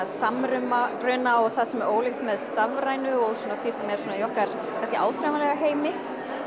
samruna og það sem er ólíkt með stafrænu og því sem er í okkar áþreifanlega heimi